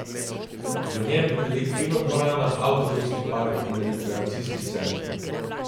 V njem bi bili kinodvorana, avtobusni park in rekreacijski center.